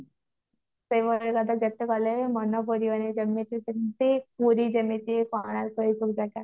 ସେଇଭଳିଆ ଯେତେ କରିଲେ ବି ମନ ପୁରିବନି ଯେମତି ପୁରୀ ଯେମିତି କୋଣାର୍କ ଏଇ ସବୁ ଜାଗା